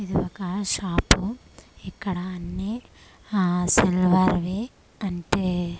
ఇది ఒక షాపు ఇక్కడ అన్నీ ఆ సిల్వర్వి అంటే--